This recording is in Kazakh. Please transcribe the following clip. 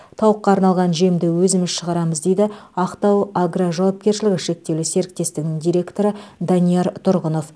тауыққа арналған жемді өзіміз шығарамыз дейді ақтау агро жауапкершілігі шектеулі серіктестігінің директоры данияр тұрғынов